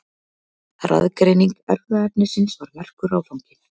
Raðgreining erfðaefnisins var merkur áfangi.